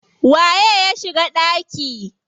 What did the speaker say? Waye ya shiga ɗaki?